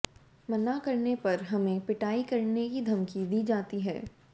मना करने पर हमें पिटाई करने की धमकी दी जाती है